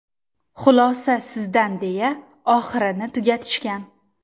Xulosa sizdan deya oxirini tugatishgan.